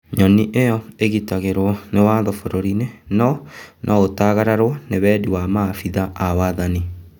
Nyoni ĩyo ĩgitagĩrwo na watho bũrũri-inĩno noũtagararwo nĩ wendi wa maabitha a wathani.